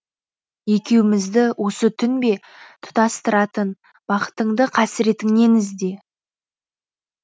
екеумізді осы түн бе тұтастыратын бақытыңды қасіретіңнен ізде